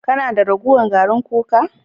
Kana da ragowar garin kuka?